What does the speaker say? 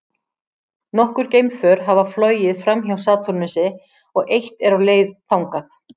Nokkur geimför hafa flogið framhjá Satúrnusi og eitt er á leið þangað.